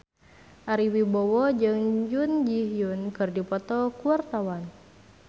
Ari Wibowo jeung Jun Ji Hyun keur dipoto ku wartawan